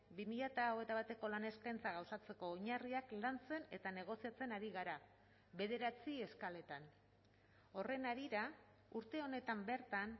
bi mila hogeita bateko lan eskaintza gauzatzeko oinarriak lantzen eta negoziatzen ari gara bederatzi eskaletan horren harira urte honetan bertan